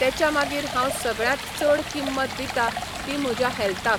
तेच्या मागीर हांव सगळ्यांत चड किंमत दिता ती म्हज्या हॅल्थाक.